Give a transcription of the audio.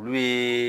Olu ye